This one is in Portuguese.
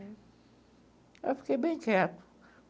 Aí eu fiquei bem quieto.